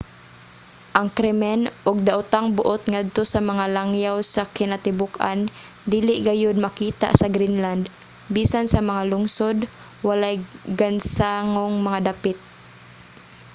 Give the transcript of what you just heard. ang krimen ug daotang buot ngadto sa mga langyaw sa kinatibuk-an dili gayod makita sa greenland. bisan sa mga lungsod walay gansangong mga dapit.